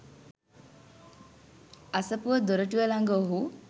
අසපුව දොරටුව ළඟ ඔහු